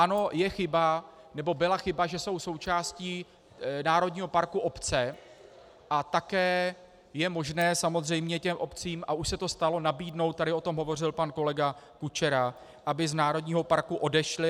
Ano, je chyba, nebo byla chyba, že jsou součástí národního parku obce, a také je možné samozřejmě těm obcím, a už se to stalo, nabídnout - tady o tom hovořil pan kolega Kučera - aby z národního parku odešly.